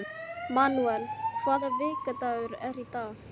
Manúel, hvaða vikudagur er í dag?